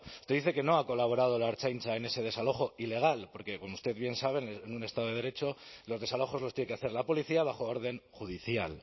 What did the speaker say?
usted dice que no ha colaborado la ertzaintza en ese desalojo ilegal porque como usted bien sabe en un estado de derecho los desalojos los tiene que hacer la policía bajo orden judicial